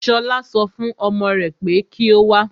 Ṣọlá so fún ọmọ rè pé kí o wá.